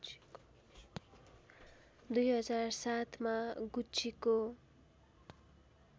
२००७ मा गुच्चीको